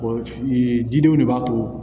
jidenw de b'a to